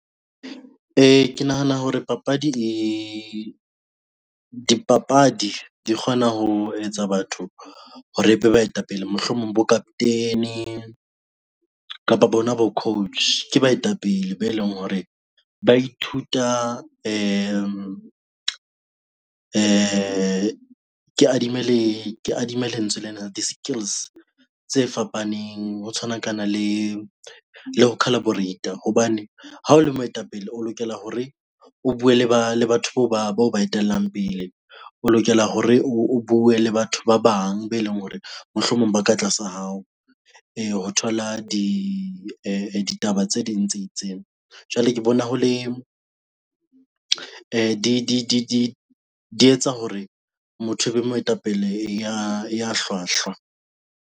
Ke nahana hore papadi le dipapadi di kgona ho etsa batho hore ebe baetapele mohlomong bo-captain kapa bona bo-coach ke baetapele be leng hore ba ithuta ke adimme lentswe lena di-skills tse fapaneng. Ho tshwanakana le le ho collaborate hobane ha o le moetapele, o lokela hore o bue le ba le batho bao ba etelang pele, o lokela hore o bue le batho ba bang be leng hore mohlomong ba ka tlasa hao. E ho thola di ditaba tse ding tse itseng. Jwale ke bona ho le di etsa hore motho e be moetapele ya hlwahlwa.